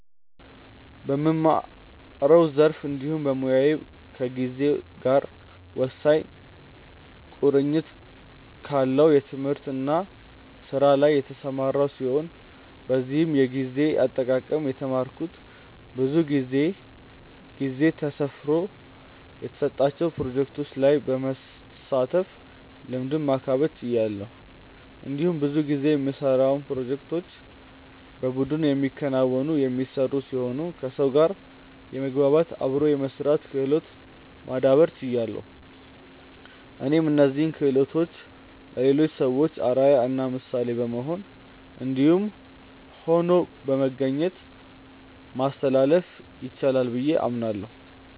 በምማረው ዘርፍ እንዲሁም በሞያዬ ከጊዜ ጋር ወሳኝ ቁርኝት ካለው ትምህርት እና ስራ ላይ የተሰማራው ሲሆን በዚህም የጊዜ አጠቃቀም የተማረኩት ብዙ ጊዜ ጊዜ ተሰፍሮ የተሰጣቸው ፕሮጀክቶች ላይ በመሳተፍ ልምዱን ማካበት ችያለሁ። እንዲሁም ብዙ ጊዜ የምንሰራውን ፕሮጀክቶች በቡድን የሚከናወኑ/የሚሰሩ ሲሆኑ ከሰው ጋር የመግባባት/አብሮ የመስራት ክህሎትን ማዳብር ችያለሁ። እኔም እነዚህን ክሆሎቶችን ለሌሎች ሰዎች አርአያ እና ምሳሌ በመሆን እንዲሁም ሆኖ በመገኘት ማስተላለፍ ይቻላል ብዬ አምናለሁ።